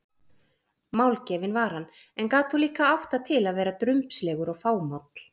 Málgefinn var hann, en gat þó líka átt það til að vera drumbslegur og fámáll.